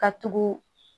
Ka tugu